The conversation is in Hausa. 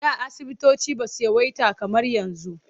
Da asubutoci ba su yawaita kamar yanzu.